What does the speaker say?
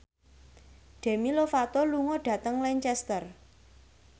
Demi Lovato lunga dhateng Lancaster